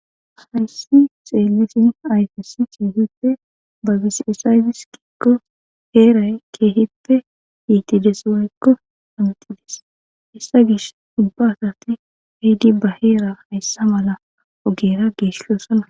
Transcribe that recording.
Hayssi xeelisin ayfesi keehippe ba bisiesaydis kikko heeray keehippe yiitides wayekko amixidis issa gish ubba asati hiidi ba heera hayssa mala ogera geeshosana.